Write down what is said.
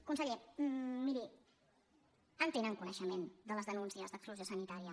conseller miri en tenen coneixement de les denúncies d’exclusió sanitària